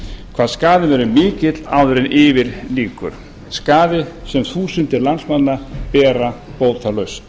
hvað skaðinn verður mikill áður en yfir lýkur skaði sem þúsundir landsmanna bera bótalaust